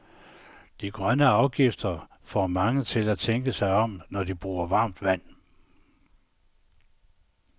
De grønne afgifter får mange til at tænke sig om, når de bruger varmt vand.